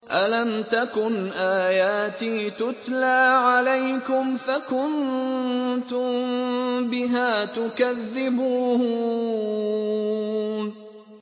أَلَمْ تَكُنْ آيَاتِي تُتْلَىٰ عَلَيْكُمْ فَكُنتُم بِهَا تُكَذِّبُونَ